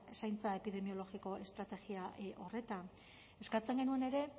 zaintza epidemiologiko estrategia horretan eskatzen genuen ere